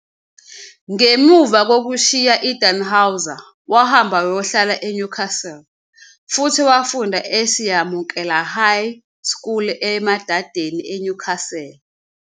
Ngemva kokushiya i-Dannhauser, wahamba wayohlala I-Newcastle, futhi wafunda eSiyamukela High School e-Emadeni, eNewcastle.